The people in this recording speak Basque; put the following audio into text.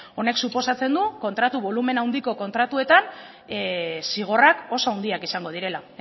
honek suposatzen du kontratu bolumena handiko kontratuetan zigorrak oso handiak izango direla